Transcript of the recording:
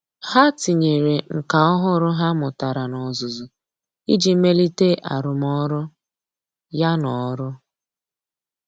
Há tínyere nkà ọ́hụ́rụ́ ha mụ́tàrà n’ọ́zụ́zụ́ iji melite arụ́mọ́rụ́. ya n’ọ́rụ́.